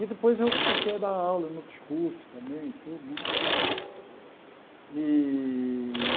E depois eu comecei a dar aula em outros curso também e tudo né. Está certo E